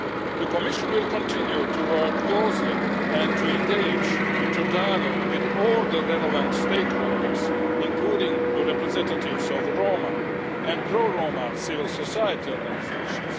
The Commission will continue to work closely and to engage in dialogue with all the relevant stakeholders, including the representatives of the Roma people and pro Roma civil society organisations.